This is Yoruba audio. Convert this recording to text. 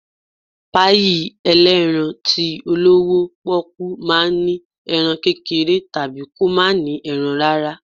Páyì elerán tí olọwọ poku ma ń ní erán kékeré tabí kọ ma ní erán rara